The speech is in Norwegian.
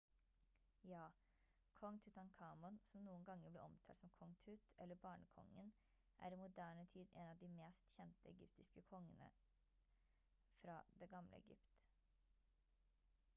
ja! kong tutankhamon som noen ganger blir omtalt som «kong tut» eller «barnekongen» er i moderne tid en av de mest kjente egyptiske kongere fra det gamle egypt